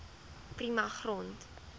prima grond